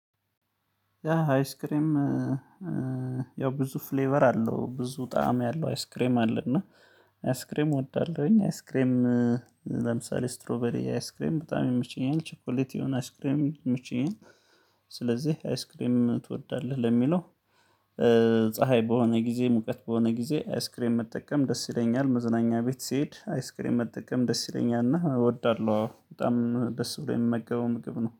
ያ አይስክሬም ያው ብዙ ፍሌቨር አለው ብዙ ጣዕም ያለው አይስክሬም አለና አይስክሬም እወዳለሁኝ። አይስክሬም ለምሳሌ ስትሮበሪ አይስክሬም በጣም ይመቸኛል ቸኮሌት የሆነ አይስክሬም ይመቸናል። ስለዚህ አይስክሬም ትወዳለህ ለሚለው? ፀሀይ በሆነ ጊዜ ሙቀት በሆነ ጊዜ አይስክሬን መጠቀም ደስ ይለኛል። መዝናኛ ቤት ስሄድ አይስክሬም መጠቀም ደስ ይለኛል እወዳለሁ። በጣም ደስ ብሎ የምመገበው ምግብ ነው